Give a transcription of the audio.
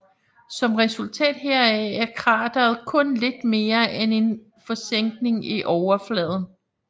Som resultat heraf er krateret kun lidt mere end en forsænkning i overfladen